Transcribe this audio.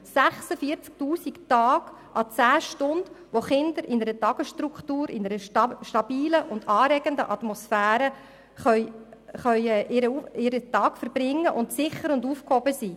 46 000 Tage à 10 Stunden, in denen Kinder in einer Tagesstruktur, in einer stabilen und anregenden Atmosphäre ihren Tag verbringen können und sicher und aufgehoben sind.